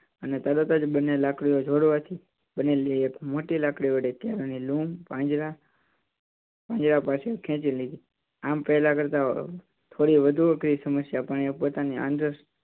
અને તરત જ બંને લાકડીઓ જોડવા થી બનેલી મોટી લાકડી વડે કેળાં ની લૂમ પાંજરા પાંજરા પાછળ ખેંચી લીધી. આમ પેલા કરતાં થોડી વધુ અઘરી સમસ્યા પણ એ પોતાની આંતર સૂજ